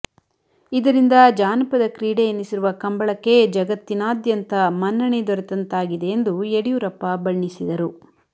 ಇದರಿಂದ ಜಾನಪದ ಕ್ರೀಡೆ ಎನಿಸಿರುವ ಕಂಬಳಕ್ಕೆ ಜಗತ್ತಿನಾದ್ಯಂತ ಮನ್ನಣೆ ದೊರೆತಂತಾಗಿದೆ ಎಂದು ಯಡಿಯೂರಪ್ಪ ಬಣ್ಣಿಸಿದರು